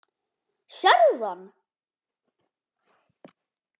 Sérðu hann?